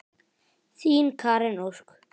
Þín Karen Ósk.